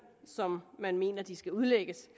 som man mener de skal udlægges